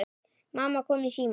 Mamma kom í símann.